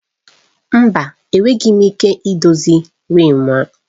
Mba! Enweghị m ike idozi riimu.